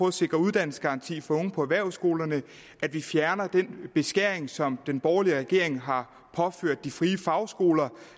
at sikre uddannelsesgaranti for unge på erhvervsskolerne at vi fjerner den beskæring som den borgerlige regering har påført de frie fagskoler